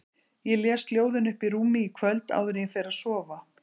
Ég les ljóðin uppi í rúmi í kvöld áður en ég fer að sofa